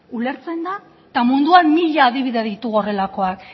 eta munduan mila adibide ditugu horrelakoak